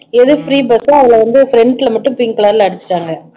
அது free bus ஓ அதுல வந்து front ல மட்டும் pink color ல அடிச்சுட்டாங்க